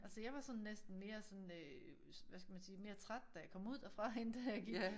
Altså jeg var sådan næsten mere sådan øh hvad skal man sige mere træt da jeg kom ud derfra end da jeg gik